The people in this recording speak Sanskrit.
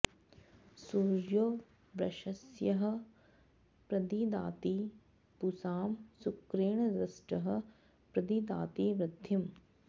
सूर्यो वृषस्यः प्रदिदाति पुंसां शुक्रेण दृष्टः प्रदिदाति वृद्धिम्